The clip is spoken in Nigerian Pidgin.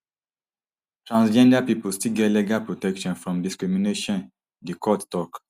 transgender pipo still get legal protection from discrimination di court tok